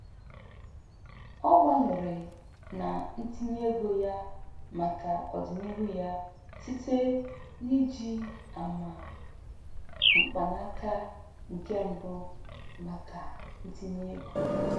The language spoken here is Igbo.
Ọ gbalịrị na ntinye ego ya maka ọdinihu ya site n'iji ama mkpanaka nke mbụ maka ntinye ego.